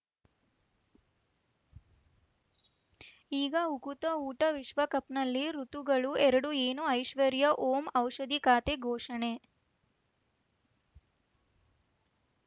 ಈಗ ಉಕುತ ಊಟ ವಿಶ್ವಕಪ್‌ನಲ್ಲಿ ಋತುಗಳು ಎರಡು ಏನು ಐಶ್ವರ್ಯಾ ಓಂ ಔಷಧಿ ಖಾತೆ ಘೋಷಣೆ